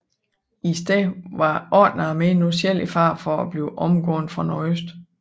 I stedet var 8 armé nu selv i fare for at blive omgået fra nordøst